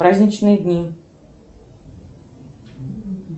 праздничные дни